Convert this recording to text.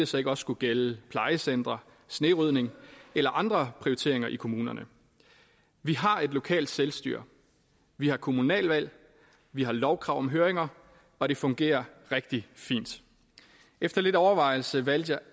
så ikke også skulle gælde plejecentre snerydning eller andre prioriteringer i kommunerne vi har et lokalt selvstyre vi har kommunalvalg vi har lovkrav om høringer og det fungerer rigtig fint efter lidt overvejelse valgte jeg